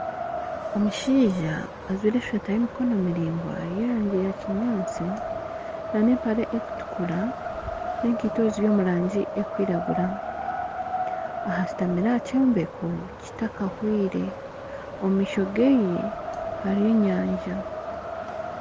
Omushaija ajwaire esweeta y'emikono miraingwa ey'erangi ya kinyaatsi na n'empare ekutukura n'ekaito eziri omu rangi ekwiragura aha ashutamire aha kyombeko kitakahwire omu maisho geye hariyo enyanja.